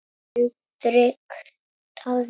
Hendrik Daði.